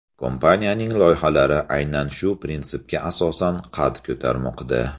Kompaniyaning loyihalari aynan shu prinsipga asosan qad ko‘tarmoqda.